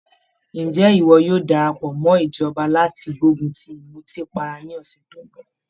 Ǹjẹ́ ìwọ yóò darapọ̀ mọ́ ìjọba láti gbógun ti ìmùtípara ní ọ̀sẹ̀ tó ń bọ̀?